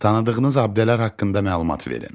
Tanıdığınız abidələr haqqında məlumat verin.